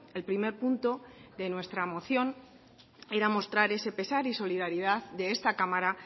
el primer punto de nuestra moción era mostrar ese pesar y solidaridad de esta cámara